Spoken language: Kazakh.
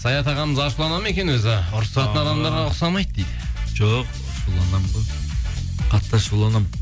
саят ағамыз ашуланады ма екен өзі ұрысатын адамдарға ұқсамайды дейді жоқ ашуланамын ғой қатты ашуланамын